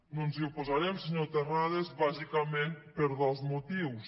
no ens hi oposarem senyor terrades bàsicament per dos motius